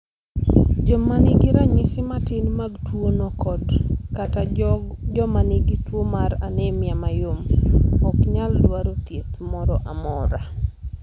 Joma nigi ranyisi matin mag tuwono kod/kata joma nigi tuwo mar anemia mayom, ok nyal dwaro thieth moro amora.